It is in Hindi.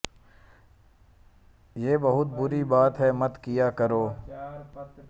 ये बहुत बुरी बात है मत किया करो